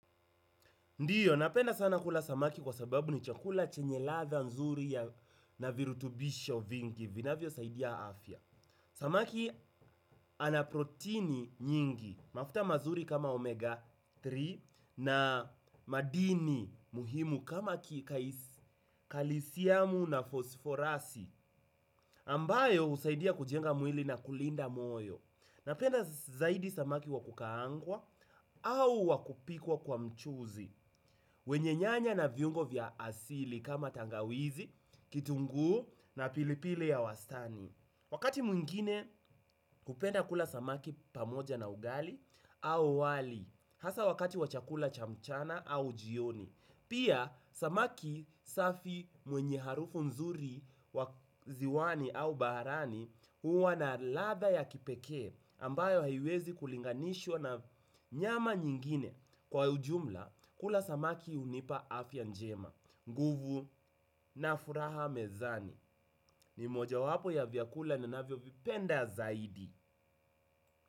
Ndiyo, napenda sana kula samaki kwa sababu ni chakula chenye latha nzuri ya na virutubisho vingi, vinavyosaidia afya. Samaki ana proteini nyingi, mafuta mazuri kama omega tatu na madini muhimu kama kalisiamu na fosforasi, ambayo usaidia kujenga mwili na kulinda moyo. Napenda zaidi samaki wa kukaangwa au wa kupikwa kwa mchuzi wenye nyanya na viungo vya asili kama tangawizi, kitungu na pilipili ya wastani. Wakati mwingine hupenda kula samaki pamoja na ugali au wali. Hasa wakati wa chakula cha mchana au jioni pia samaki safi mwenye harufu nzuri wa ziwani au barani huwa na ladha ya kipeke ambayo haiwezi kulinganishwa na nyama nyingine. Kwa ujumla, kula samaki unipa afya njema nguvu na furaha mezani. Ni mojawapo ya vyakula navvyovipenda zaidi.